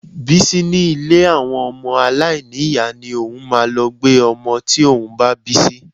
Bísí ní ilé àwọn ọmọ aláìní ìyá ni òun máa lọ gbé ọmọ tí òun bá bí sí